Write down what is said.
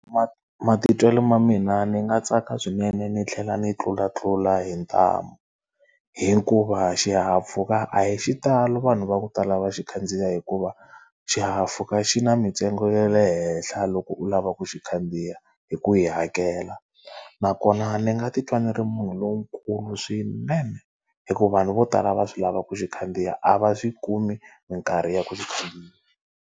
Matitwelo ma mina ni nga tsaka swinene ni tlhela ni tlulatlula hi ntamu hikuva xihahampfhuka a hi xitalo vanhu va ku tala va xi khandziya hikuva, xihahampfhuka xi na mintsengo ya le henhla loko u lava ku xi khandziya hi ku yi hakela. Nakona ni nga titwa ni ri munhu lonkulu swinene, hikuva vanhu vo tala va swi lava ku xi khandziya a va swi kumi minkarhi ya ku xi khandziya.